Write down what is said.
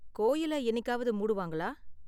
கோயில என்னிக்காவது மூடுவாங்களா?